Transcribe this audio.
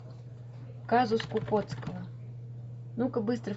казус кукоцкого ну ка быстро